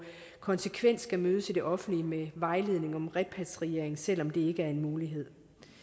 konsekvent skal mødes i det offentlige med vejledning om repatriering selv om det ikke er en mulighed